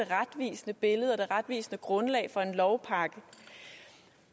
retvisende billede og det retvisende grundlag for en lovpakke